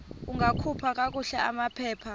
ungakhupha kakuhle amaphepha